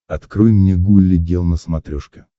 открой мне гулли гел на смотрешке